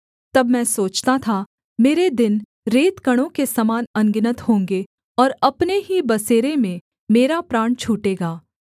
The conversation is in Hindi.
तब मैं सोचता था मेरे दिन रेतकणों के समान अनगिनत होंगे और अपने ही बसेरे में मेरा प्राण छूटेगा